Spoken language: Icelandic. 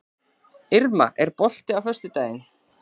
Irma, er bolti á föstudaginn?